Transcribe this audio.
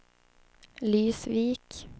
Lysvik